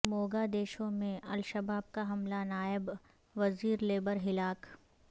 موگا دیشو میں الشباب کا حملہ نائب وزیرلیبر ہلاک